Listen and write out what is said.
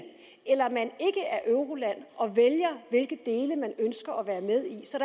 eller man ikke er euroland og vælger hvilke dele man ønsker at være med i så